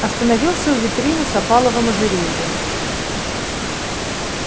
остановился у витрины с опаловым ожерельем